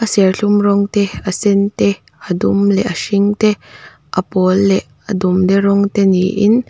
serthlum rawng te a sên te a dum leh a hring te a pâwl leh a dumde rawng te niin--